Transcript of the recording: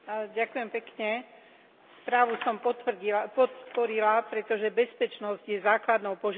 Správu som podporila, pretože bezpečnosť je základnou požiadavkou leteckej dopravy.